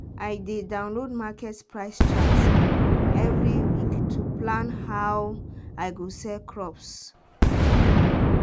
i dey download market price chart every week to plan how i go sell crops.